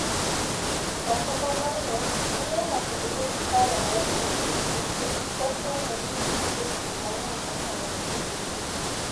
okumba mar wuoth miyo ng'ato bedo gi paro mokuwe nikech ofwenyo ni nitie gik mang'eny manyalo hinye.